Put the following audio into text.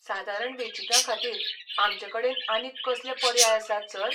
सादारण वेंचीकाखातीर आमचेकडेन आनीक कसले पर्याय आसात, सर?